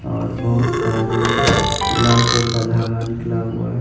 और बहुत सारे लाल कलर का धागा निकला हुआ है।